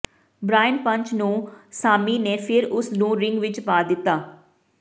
Brian punch ਨੂੰ Sammy ਨੇ ਫਿਰ ਉਸ ਨੂੰ ਰਿੰਗ ਵਿੱਚ ਪਾ ਦਿੱਤਾ